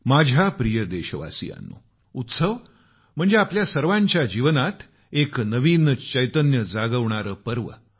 माझ्या प्रिय देशवासियांनो उत्सव आपल्या सर्वांचं जीवनात एक नवीन चैतन्य जागवणारा पर्व असतो